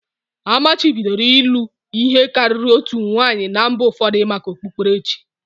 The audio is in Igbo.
Amachibidoro ịlụ ihe karịrị otu nwanyị na mba ụfọdụ maka okpukperechi